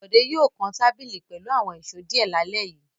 Bọ̀dé yóò kan tábìlì pẹ̀lú àwọn ìṣó díẹ̀ lálẹ́ yìí.